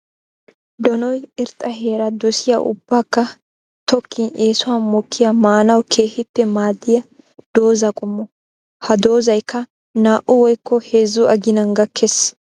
Donoy irxxa heera dosiyaa ubbakka tokkin eesuwan mokiyaa maanawu keehippe maadiya dooza qommo. Ha doozayikka naa'u woykko heezzu aginan gakees.